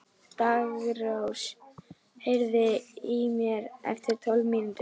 Daggrós, heyrðu í mér eftir tólf mínútur.